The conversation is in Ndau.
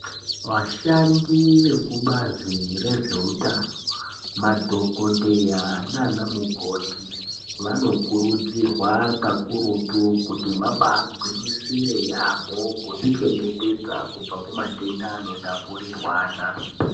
Vashandi vekubazi rezveutano madhokodheya naanamukoti vanokurudzirwa kakurutu kuti vagwinyisire yaamho kuzvichengetedza kubva kumatenda anotapurirwana